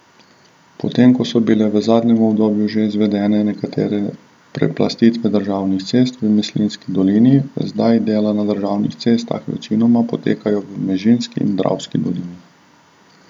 Potem ko so bile v zadnjem obdobju že izvedene nekatere preplastitve državnih cest v Mislinjski dolini, zdaj dela na državnih cestah večinoma potekajo v Mežiški in Dravski dolini.